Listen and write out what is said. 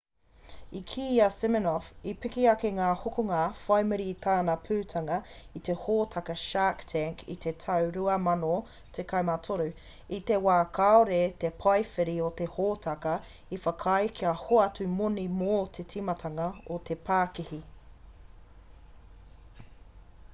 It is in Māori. i kī a siminoff i piki ake ngā hokonga whai muri i tana putanga i te hōtaka shark tank i te tau 2013 i te wā kāore te paewhiri o te hōtaka i whakaae kia hoatu moni mō te timatanga o te pākihi